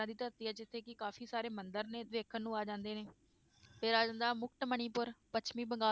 ਦੀ ਧਰਤੀ ਹੈ ਜਿੱਥੇ ਕਿ ਕਾਫ਼ੀ ਸਾਰੇ ਮੰਦਿਰ ਨੇ ਦੇਖਣ ਨੂੰ ਆ ਜਾਂਦੇ ਨੇ, ਫਿਰ ਆ ਜਾਂਦਾ ਮੁਕਟ ਮਣੀਪੁਰ ਪੱਛਮੀ ਬੰਗਾ~